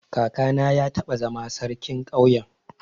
Kakana ya taba zama sarkin ƙauyen.